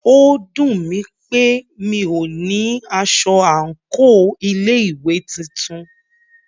Ó dùnmí pé mí o ní aṣọ àńkò ilé ìwé titun.